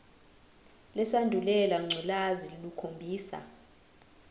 lesandulela ngculazi lukhombisa